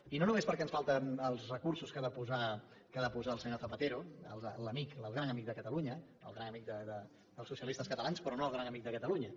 i no només perquè ens falten els recursos que ha de posar el senyor zapatero l’amic el gran amic de catalunya el gran amic dels socialistes catalans però no el gran amic de catalunya